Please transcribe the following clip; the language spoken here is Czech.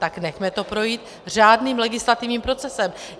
Tak nechme to projít řádným legislativním procesem.